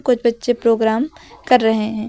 बच्चे प्रोग्राम कर रहे हैं।